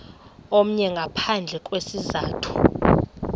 omnye ngaphandle kwesizathu